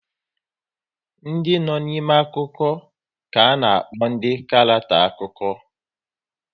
Ndị no n'ime akụkọ ka ana-akpọ ndị karackter akụkọ